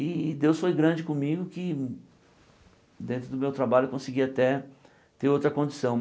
E Deus foi grande comigo que dentro do meu trabalho eu consegui até ter outra condição.